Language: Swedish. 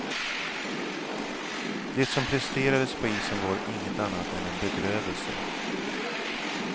Det som presterades på isen var inget annat än en bedrövelse.